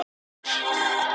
"""Já, hvað er nú?"""